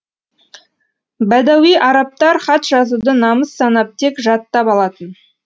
бәдәуи арабтар хат жазуды намыс санап тек жаттап алатын